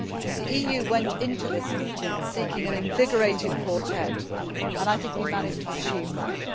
The EU went into this meeting seeking an invigorated Quartet and I think we managed to achieve that.